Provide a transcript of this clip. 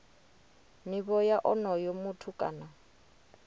nivho ya onoyo muthu kana